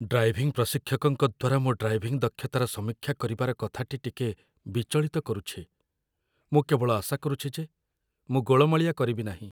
Driving ପ୍ରଶିକ୍ଷକଙ୍କ ଦ୍ୱାରା ମୋ ଡ୍ରାଇଭିଂ ଦକ୍ଷତାର ସମୀକ୍ଷା କରିବାର କଥାଟି ଟିକେ ବିଚଳିତ କରୁଛି ମୁଁ କେବଳ ଆଶା କରୁଛି ଯେ ମୁଁ ଗୋଳମାଳିଆ କରିବି ନାହିଁ।